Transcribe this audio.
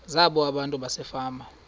zabo abantu basefama